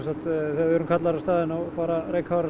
þegar við erum kallaðir á staðinn fara